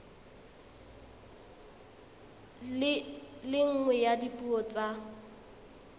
le nngwe ya dipuo tsa